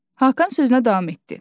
Hakan sözünə davam etdi: